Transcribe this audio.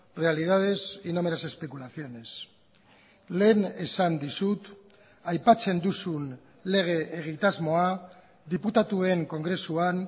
realidades y no meras especulaciones lehen esan dizut aipatzen duzun lege egitasmoa diputatuen kongresuan